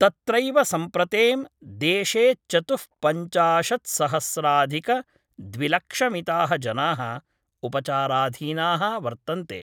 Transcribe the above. तत्रैव सम्प्रतें, देशे चतु: पञ्चशात्सहस्राधिक द्विलक्षमिताः जनाः उपचाराधीना: वर्तन्ते।